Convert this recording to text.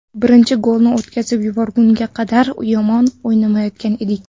Birinchi golni o‘tkazib yuborgunga qadar yomon o‘ynamayotgan edik.